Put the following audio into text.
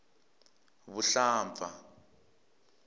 vuhlampfa